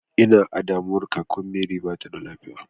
I na a damuwa kakan mary ba ta da lafiya.